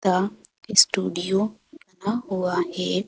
The studio बना हुआ है।